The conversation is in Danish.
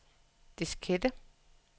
diskette